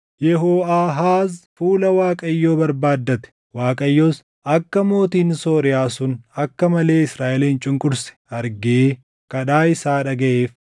Yehooʼaahaaz fuula Waaqayyoo barbaaddate; Waaqayyos akka mootiin Sooriyaa sun akka malee Israaʼelin cunqurse argee kadhaa isaa dhagaʼeef.